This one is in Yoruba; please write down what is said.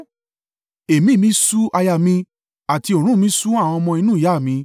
Ẹ̀mí mi ṣú àyà mi, àti òórùn mi ṣú àwọn ọmọ inú ìyá mi.